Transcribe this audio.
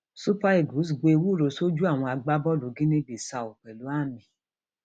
super eagles gbo ewúro sójú àwọn agbábọọlù guinea bissau pẹlú àmì